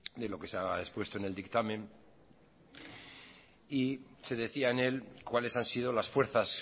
de lo que se ha expuesto en el dictamen y se decía en él cuáles han sido las fuerzas